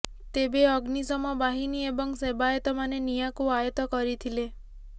ତେବେ ଅଗ୍ନିଶମ ବାହିନୀ ଏବଂ ସେବାୟତମାନେ ନିଆଁକୁ ଆୟତ୍ତ କରିଥିଲେ